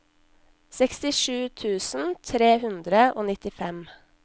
sekstisju tusen tre hundre og nittifem